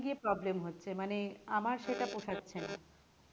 সেখানে গিয়ে problem হচ্ছে মানে আমার সেটা পোষাচ্ছে না